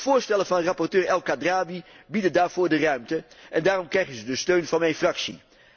De voorstellen van rapporteur El Khadraoui bieden daarvoor de ruimte en daarom krijgen ze de steun van mijn fractie.